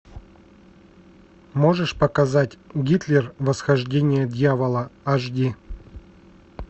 можешь показать гитлер восхождение дьявола аш ди